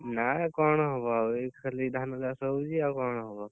ନା ଆଉ କଣ ହବ ଆଉ ଏଇ ଖାଲି ଧାନ ଚାଷ ହଉଛି ଆଉ କଣ ହବ?